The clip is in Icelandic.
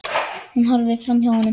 Hún horfir framhjá honum.